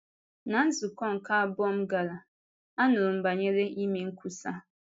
Ná nzukọ nke abụọ m gara, anụrụ m banyere ime nkwusa.